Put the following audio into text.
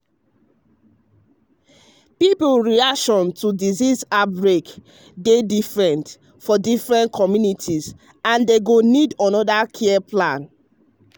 people reaction to disease outbreak dey different for different communities and dem go need another care plan.